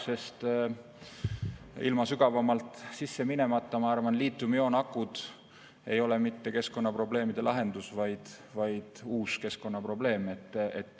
Sinna sügavamalt sisse minna, ma arvan, sest liitiumioonakud ei ole mitte keskkonnaprobleemide lahendus, vaid uus keskkonnaprobleem.